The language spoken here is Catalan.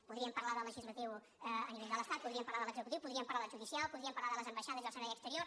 podríem parlar del legislatiu a nivell de l’estat podríem parlar de l’executiu podríem parlar del judicial podríem parlar de les ambaixades i el servei exterior